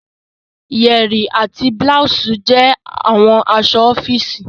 yẹrí àti blouse jẹ awọn aṣọ ọfiisi.